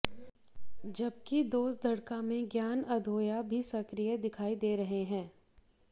जबकि दोसड़का में ज्ञान अधोया भी सक्रिय दिखाई दे रहे हैं